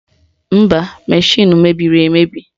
Mba, mashịnụ mebiri emebi